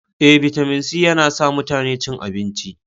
E, bitamin C yana sa mutane cin abinci.